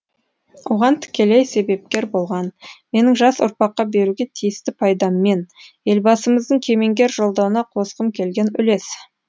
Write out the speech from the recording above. оған тікелей себепкер болған менің жас ұрпаққа беруге тиісті пайдаммен елбасымыздың кемеңгер жолдауына қосқым келген үлес